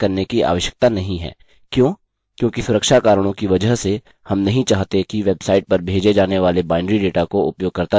क्यों क्योंकि सुरक्षा कारणों की वजह से हम नहीं चाहते कि वेबसाइट पर भेजे जाने वाले binary data को उपयोगकर्ता देखे